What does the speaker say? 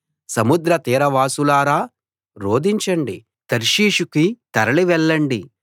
సముద్ర తీరవాసులారా రోదించండి తర్షీషుకి తరలి వెళ్ళండి